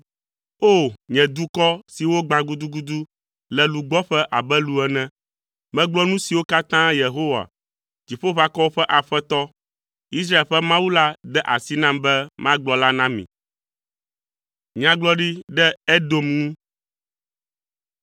O! Nye dukɔ si wogbã gudugudu le lugbɔƒe abe lu ene, megblɔ nu siwo katã Yehowa, Dziƒoʋakɔwo ƒe Aƒetɔ, Israel ƒe Mawu la de asi nam be magblɔ la na mi.